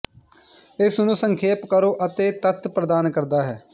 ਇਸ ਨੂੰ ਸੰਖੇਪ ਕਰੋ ਅਤੇ ਤੱਤ ਪ੍ਰਦਾਨ ਕਰਦਾ ਹੈ